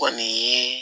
Kɔni ye